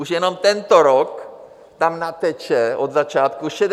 Už jenom tento rok tam nateče od začátku 66 miliard.